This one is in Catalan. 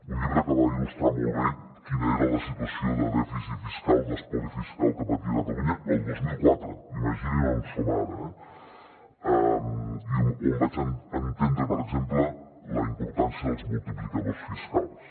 un llibre que va il·lustrar molt bé quina era la situació de dèficit fiscal d’espoli fiscal que patia catalunya el dos mil quatre imaginin on som ara eh i on vaig entendre per exemple la importància dels multiplicadors fiscals